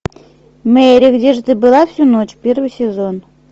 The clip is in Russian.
мэри где же ты была всю ночь первый сезон